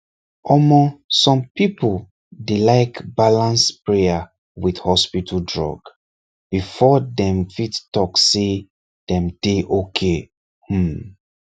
omor some people dey like balance prayer with hospital drug before dem fit talk say dem dey okay um